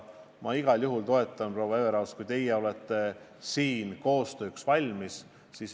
Ma igal juhul toetan seda ja usun, et teie, proua Everaus, olete siin koostööks valmis.